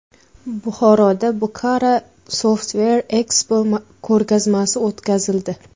Buxoroda Bukhara Software Expo ko‘rgazmasi o‘tkazildi.